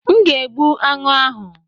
M ga egbu anụ ahụ.